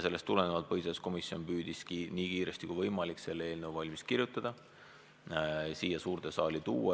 Sellest tulenevalt põhiseaduskomisjon püüdiski nii kiiresti kui võimalik sellekohase eelnõu valmis kirjutada ja siia suurde saali tuua.